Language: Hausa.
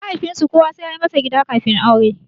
Mahaifinsu kowa sai yayi masa gida kafin aure.